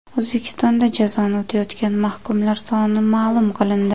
O‘zbekistonda jazoni o‘tayotgan mahkumlar soni ma’lum qilindi.